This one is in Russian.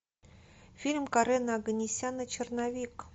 фильм карена оганесяна черновик